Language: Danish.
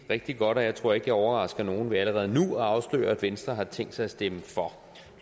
rigtig godt og jeg tror ikke jeg overrasker nogen ved allerede nu at afsløre at venstre har tænkt sig at stemme for